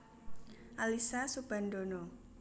Alyssa Soebandono